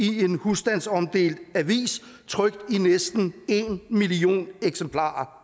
i en husstandsomdelt avis trykt i næsten en million eksemplarer